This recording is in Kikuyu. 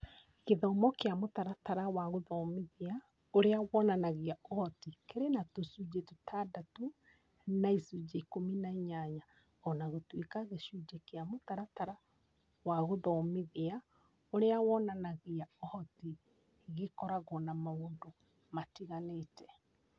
Gĩthomo kĩa mũtaratara wa gũthomithia ũrĩa wonanagia ũhoti kĩrĩ na tũcunjĩ tũtandatũ na icunjĩ ikũmi na inyanya o na gũtuĩka gĩcunjĩ kĩa mũtaratara wa gũthomithia ũrĩa wonanagia ũhoti gĩkoragwo na maũndũ matiganĩte.